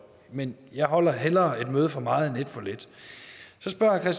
men jeg holder hellere et møde for meget end et for lidt så spørger